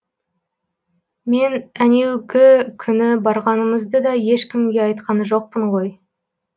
мен әнеугі күні барғанымызды да ешкімге айтқан жоқпын ғой